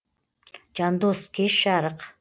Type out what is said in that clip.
жандос кеш жарық